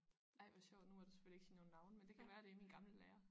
Ej hvor sjovt nu må du selvfølgelig ikke sige nogen navne men det kan være det er min gamle lærer